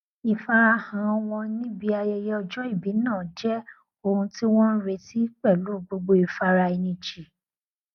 ìfarahàn wọn níbi ayẹyẹ ọjọ ìbí náà jẹ ohun tí wọn n retí pẹlú gbogbo ìfaraẹnijìn